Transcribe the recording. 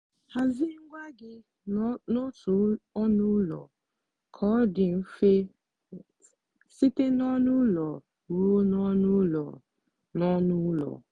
hazie ngwa gị n'otu ọnụ ụlọ ka ọ dị mfe site n'ọnụ ụlọ ruo n'ọnụ ụlọ. n'ọnụ ụlọ.